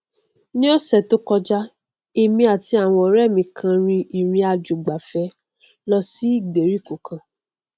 ni ọsẹ tó kọjá èmi àti àwọn ọrẹ mi kan rin ìrìnàjòìgbafẹ lọ sí ìgbèríko kan